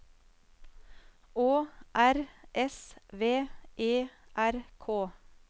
Å R S V E R K